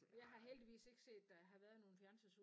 Jeg har heldigvis ikke set der har været en